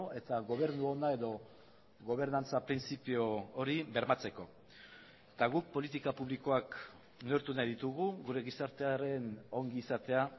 eta gobernu ona edo gobernantza printzipio hori bermatzeko eta guk politika publikoak neurtu nahi ditugu gure gizartearen ongizatea